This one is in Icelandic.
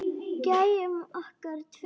Gæjunum okkar tveim.